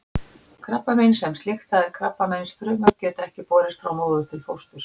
Krabbamein sem slíkt, það er krabbameinsfrumur, geta ekki borist frá móður til fósturs.